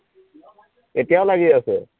এতিয়াও লাগি আছে